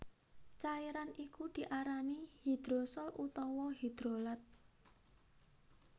Cairan iku diarani hidrosol utawa hidrolat